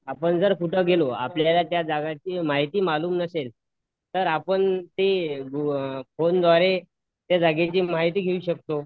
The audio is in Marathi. आपण जर कुठ गेलो आपल्याला जर त्या जागेची माहिती मालूम नसेल तर आपण ते फोनद्वारे त्या जागेची माहिती घेऊ शकतो